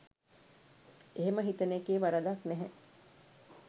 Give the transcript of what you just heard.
එහෙම හිතන එකේ වරදක් නැහැ